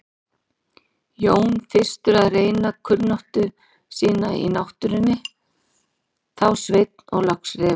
Jón fyrstur að reyna kunnáttu sína á náttúrunni, þá Sveinn og loks Refur.